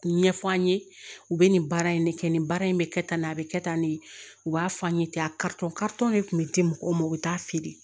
Ɲɛfɔ an ye u bɛ nin baara in ne kɛ nin baara in bɛ kɛ tan nin a bɛ kɛ tan de u b'a f'an ye ten a karitɔn de tun bɛ di mɔgɔw ma u bɛ taa feere